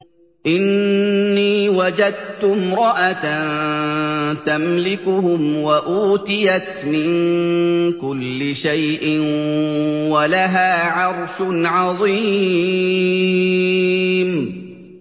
إِنِّي وَجَدتُّ امْرَأَةً تَمْلِكُهُمْ وَأُوتِيَتْ مِن كُلِّ شَيْءٍ وَلَهَا عَرْشٌ عَظِيمٌ